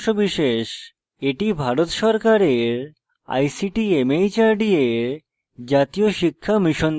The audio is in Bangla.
এটি ভারত সরকারের ict mhrd এর জাতীয় শিক্ষা mission দ্বারা সমর্থিত